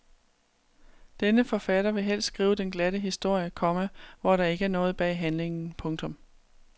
Denne forfatter vil helst skrive den glatte historie, komma hvor der ikke er noget bag handlingen. punktum